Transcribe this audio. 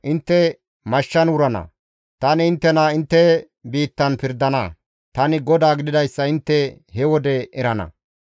Intte mashshan wurana; tani inttena intte biittan pirdana. Tani GODAA gididayssa intte he wode erana.